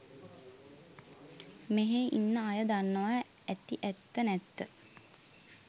මෙහේ ඉන්න අය දන්නවා ඇති ඇත්ත නැත්ත